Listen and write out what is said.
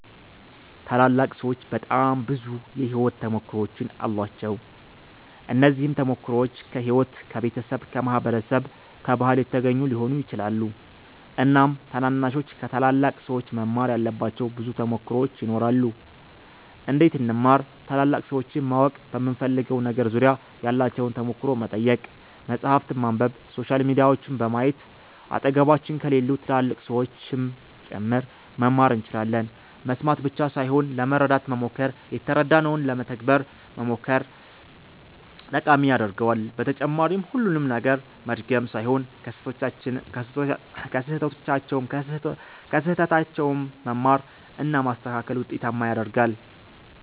ታላላቅ ሠዎች በጣም ብዙ የሕይወት ተሞክሮዎች አሏቸው። እነዚህም ተሞክሮዎች ከሕይወት፣ ከቤተሰብ፣ ከማህበረሰብ፣ ከባህል የተገኙ ሊሆኑ ይችላሉ። እናም ታናናሾች ከታላላቅ ሠዎች መማር ያለባቸው ብዙ ተሞክሮዎች ይኖራሉ። እንዴት እንማር ?ታላላቅ ሠዎችን ማወቅ በምንፈልገው ነገር ዙሪያ ያላቸውን ተሞክሮ መጠየቅ፣ መፃህፍትን ማንበብ፣ ሶሻል ሚዲያዎችን በማየት አጠገባችን ከሌሉ ትላልቅ ሠዎችም ጭምር መማር እንችላለን መስማት ብቻ ሣይሆን ለመረዳት መሞከር የተረዳነውን ለመተግበር መሞከር ጠቃሚ ያደርገዋል በተጨማሪም ሁሉንም ነገር መድገም ሣይሆን ከሥህተታቸውም መማር እና ማስተካከል ውጤታማ ያደርጋል።